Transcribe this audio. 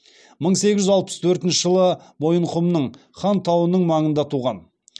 мың сегіз жүз алпыс төртінші жылы мойынқұмның хан тауының маңында туған